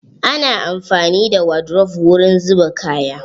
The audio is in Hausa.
Ana amfani da wadrof wurin zuba kaya.